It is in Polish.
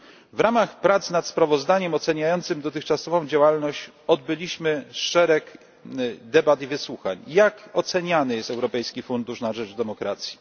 W ramach prac nad sprawozdaniem oceniającym dotychczasową działalność odbyliśmy szereg debat i wysłuchań, żeby dowiedzieć się, jak oceniany jest Europejski Fundusz na rzecz Demokracji.